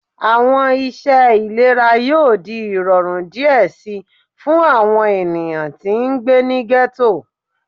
Awọn iṣẹ ilera yoo di irọrun diẹ sii fun awọn eniyan ti ngbe ni ghetto